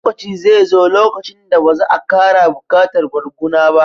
Lokaci zai zo lokacin da ba za a ƙara buƙatar barguna ba